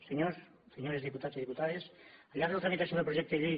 senyors i senyores diputats i diputades al llarg de la tramitació del projecte de llei